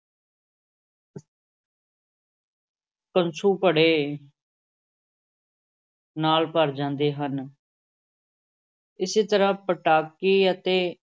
ਕਸੁੰਭੜੇ ਨਾਲ ਭਰ ਜਾਂਦੇ ਹਨ ਇਸੇ ਤਰ੍ਹਾਂ ਪਟਾਕੀ ਅਤੇ